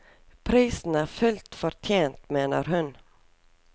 Prisen er fullt fortjent, mener hun.